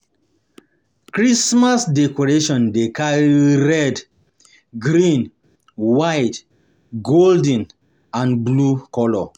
Christmas decoration de carry red, green, white, golden and blue color